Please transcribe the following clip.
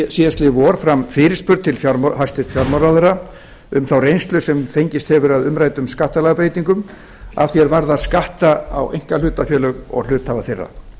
síðastliðið vor fram fyrirspurn til hæstvirts fjármálaráðherra um þá reynslu sem fengist hefur af umræddum skattalagabreytingum að því er varðar skatta á einkahlutafélög og hluthafa þeirra